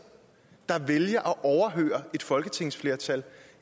der vælger at overhøre et folketingsflertal